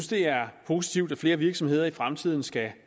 det er positivt at flere virksomheder i fremtiden skal